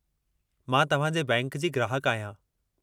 मां तव्हां जे बैंक जी ग्राहकु आहियां।